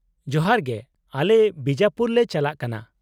-ᱡᱚᱦᱟᱨ ᱜᱮ, ᱟᱞᱮ ᱵᱤᱡᱟᱯᱩᱨ ᱞᱮ ᱪᱟᱞᱟᱜ ᱠᱟᱱᱟ ᱾